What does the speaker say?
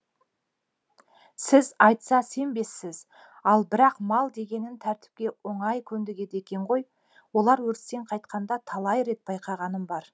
сіз айтса сенбессіз ал бірақ мал дегенің тәртіпке оңай көндігеді екен ғой олар өрістен қайтқанда талай рет байқағаным бар